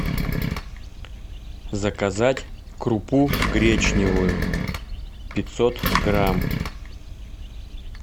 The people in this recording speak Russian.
заказать крупу гречневую пятьсот грамм